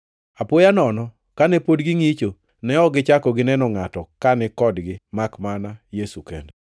Apoya nono kane pod gingʼicho, ne ok gichako gineno ngʼato kani kodgi makmana Yesu kende.